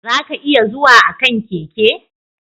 Za ka iya zuwa a kan keke.